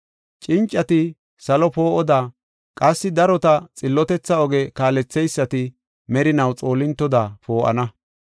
Cincati salo poo7oda qassi darota xillotetha oge kaaletheysati merinaw xoolintoda poo7ana.